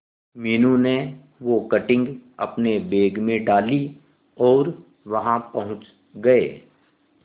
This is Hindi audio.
मीनू ने वो कटिंग अपने बैग में डाली और वहां पहुंच गए